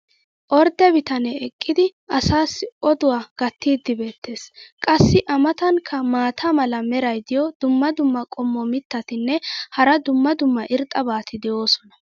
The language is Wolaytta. ordde bitanee eqqidi asaassi odduwa gatiidi beetees. qassi a matankka maata mala meray diyo dumma dumma qommo mitattinne hara dumma dumma irxxabati de'oosona.